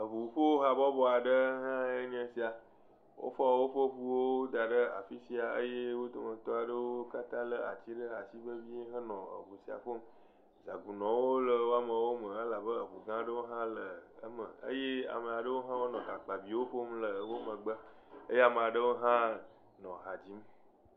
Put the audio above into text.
Eʋuƒohabɔbɔ aɖe hã enye esia. Wofɔ woƒe ʋuwo da ɖe afi sia eye wodometɔ aɖewo katã lé ati aɖe ashi vevie henɔ eʋu sia ƒom. Zagunɔwo le wo ameawo me elabe eʋu gã ɖewo hã le eme eye ame aɖewo hã wonɔ hakpaviwo ƒom le wo megbe eye ame aɖewo hã nɔ ha dzim.